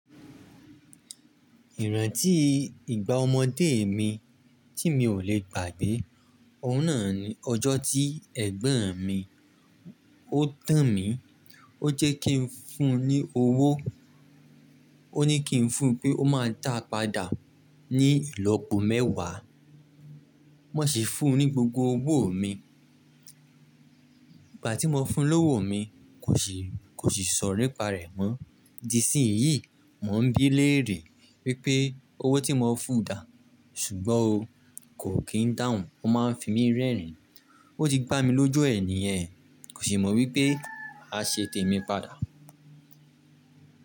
Ìrantí ìgbà ọmọdé mi tí mi ò lè gbà gbé, ọ́hun náà ni ọjọ́ tí ẹ̀gbọ́n mi ó tàn mí, ó jẹ́ kí ń fún un ní owó. Ó ní kí ń fún un pé ó máa dàá padà ní ìlọ́po mẹ́wàá. Mo sì fún un ní gbogbo owó mi. Ìgbà tí mo fún un lówó mi kò sì, kò sì sọ̀rọ̀ nìparẹ mọ́. Di isínyí, mò ń bí léèrè wípé owó tí mo fún un dàá ṣùgbọ́n o, kò kí ń dáhùn, ó máa fi mí rẹ́rìn-ín. Ó ti gbá mi lójú ẹ niyẹn, kò sì mọ̀ wípé màá ṣe tèmi padà.